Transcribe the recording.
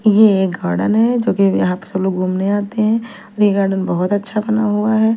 ये एक गार्डन है जो की यहाँ अक्सर लोग घूमने आते है और ये गार्डन बहुत अच्छा बना हुआ हैं।